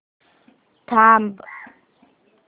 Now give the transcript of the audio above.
थांब